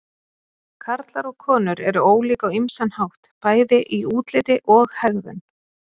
Karlar og konur eru ólík á ýmsan hátt, bæði í útliti og hegðun.